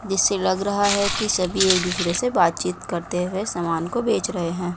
जिससे लग रहा है कि सभी एक दूसरे से बातचीत करते हुए सामान को बेच रहे हैं।